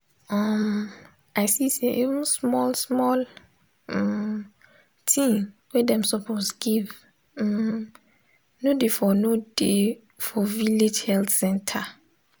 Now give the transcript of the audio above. um i see say even small small um thing wey dem suppose give um no dey for no dey for village health center.